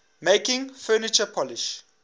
making furniture polish